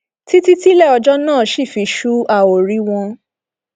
títí tílẹ ọjọ náà ṣì fi ṣu a ó rí wọn